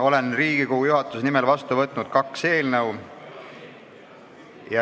Olen Riigikogu juhatuse nimel vastu võtnud kaks eelnõu.